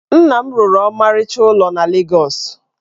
Nna m rụrụ ọmarịcha ụlọ na Legọs.